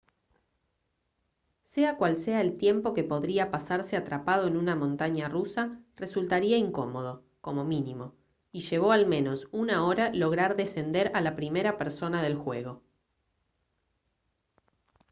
sea cual sea el tiempo que podría pasarse atrapado en una montaña rusa resultaría incómodo como mínimo y llevó al menos una hora lograr descender a la primera persona del juego»